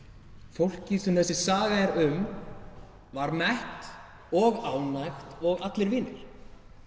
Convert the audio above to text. fólkið sem þessi saga er um var mett og ánægt og allir vinir